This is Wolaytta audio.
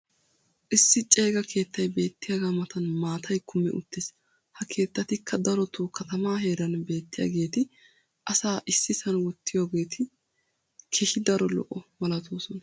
issi ceega keettay beettiyaaga matan maatay kummi uttiis. ha keetatikka darotoo katamaa heeran beetiyaageeti asaa issisan wottiyaageeti keehi daro lo'o malatoosona.